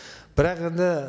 бірақ енді